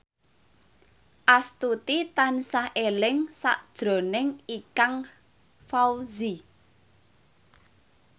Astuti tansah eling sakjroning Ikang Fawzi